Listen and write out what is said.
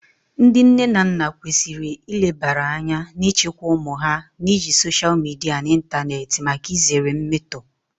Ndị nne na nna kwesịrị ilebara anya na ịchịkwa ụmụ ha na iji soshal midia na ịntanetị maka izere mmetọ